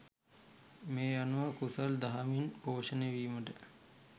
මේ අනුව කුසල් දහමින් පෝෂණය වීමට